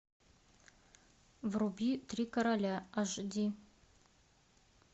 вруби три короля аш ди